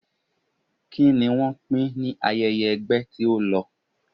Kí ni wọ́n pín ní ayẹyẹ ẹgbẹ́ tí ó lọ?